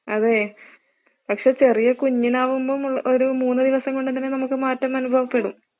അതെ, പക്ഷെ ചെറിയ കുഞ്ഞിനാകുമ്പോൾ ഉള്ള ഒരു മൂന്ന് ദിവസം കൊണ്ടൊക്കെ തന്നെ നമുക്ക് മാറ്റം അനുഭവപ്പെടും